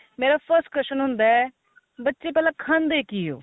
ਮੇਰਾ first question ਹੁੰਦਾ ਬੱਚੇ ਪਹਿਲਾਂ ਖਾਂਦੇ ਕੀ ਓ